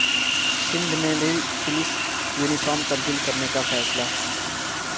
سندھ میں بھی police uniform تبدیل کرنے کا فیصلہ